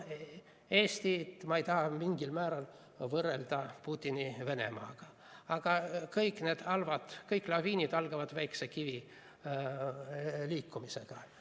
Eestit ma ei taha mingil määral võrrelda Putini Venemaaga, aga kõik halb, kõik laviinid algavad väikese kivi liikumisega.